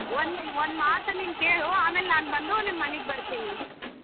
ಒಂದು ಮಾತು ನಿನ್ ಕೇಳು ಆಮೇಲೆ ಬಂದು ನಿಮ್ ಮನೆಗ ಬರ್ತೀನಿ.